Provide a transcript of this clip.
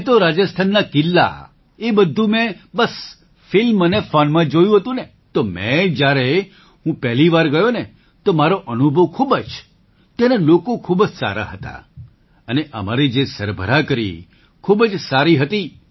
મેં તો રાજસ્થાનના કિલ્લા એ બધું મેં બસ ફિલ્મ અને ફૉનમાં જ જોયું હતું ને તો મેં જ્યારે હું પહેલી વાર ગયો તો મારો અનુભવ ખૂબ જ ત્યાંના લોકો ખૂબ જ સારા હતા અને અમારી જે સરભરા કરી ખૂબ જ સારી હતી